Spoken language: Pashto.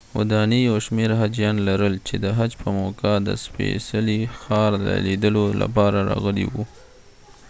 ودانۍ یو شمیر حاجیان لرل چې د حج په موقعه د سپېڅلي ښار د لیدو لپاره راغلي وو